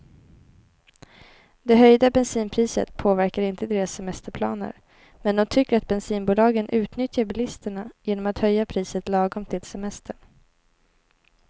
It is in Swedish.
Det höjda bensinpriset påverkar inte deras semesterplaner, men de tycker att bensinbolagen utnyttjar bilisterna genom att höja priset lagom till semestern.